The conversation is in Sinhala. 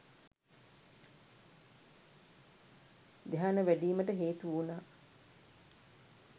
ධ්‍යාන වැඞීමට හේතු වුණා